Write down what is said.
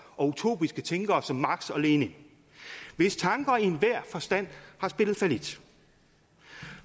og utopiske tænkere som marx og lenin hvis tanker i enhver forstand har spillet fallit